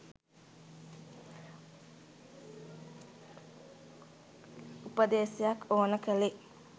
උපදෙසක් ඕන කළේ.